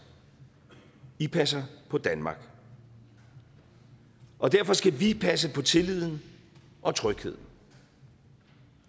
i passer på danmark og derfor skal vi passe på tilliden og trygheden